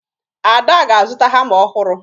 Ada ga-azụta hama ọhụrụ